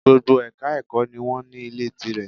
Gbogbo Èka ẹ̀kọ́ ni wọ́n ní Ilé tí rẹ̀